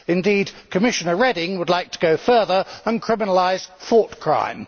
Indeed, Commissioner Reding would like to go further and criminalise thought crime.